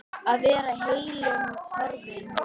Að vera heillum horfin